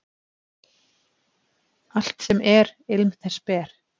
Allt sem er, ilm þess ber.